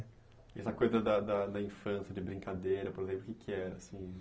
E essa coisa da da da infância, de brincadeira, por exemplo, o que que era, assim?